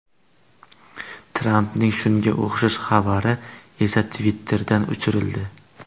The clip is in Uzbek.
Trampning shunga o‘xshash xabari esa Twitter’dan o‘chirildi .